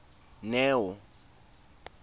neo